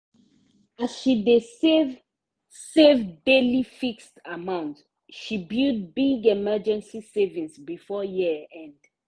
as she dey save save daily fixed amount she build big emergency savings before year end.